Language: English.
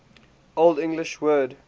old english word